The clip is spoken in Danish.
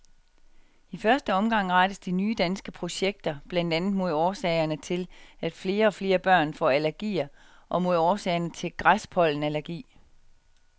I første omgang rettes de nye danske projekter blandt andet mod årsagerne til, at flere og flere børn får allergier og mod årsagerne til græspollenallergi.